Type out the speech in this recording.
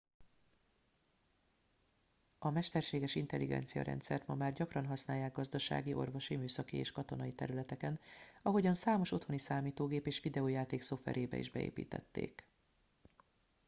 a mesterséges intelligenciarendszert ma már gyakran használják gazdasági orvosi műszaki és katonai területeken ahogyan számos otthoni számítógép és videojáték szoftverébe is beépítették